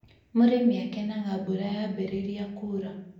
Mũrĩmi akenaga mbura yambĩrĩria kura